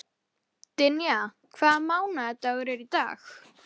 Það þurfti ekki frekari vitnanna við.